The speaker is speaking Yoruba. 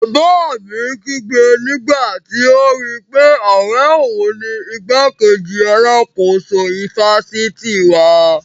Bàbá mi kígbe nígbàtí ó rí pé ọ̀rẹ́ òun ni igbákejì alákóso ifásitì wa